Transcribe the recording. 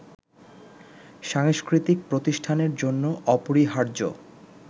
সাংস্কৃতিক প্রতিষ্ঠানের জন্য অপরিহার্য